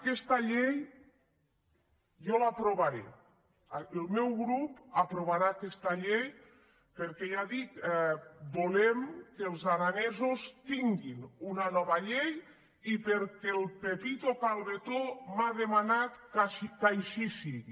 aquesta llei jo l’aprovaré el meu grup aprovarà aquesta llei perquè ja dic volem que els aranesos tinguin una nova llei i perquè el pepito cal·betó m’ha demanat que així sigui